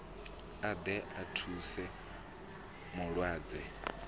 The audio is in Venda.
a ḓe a thuse mulwadze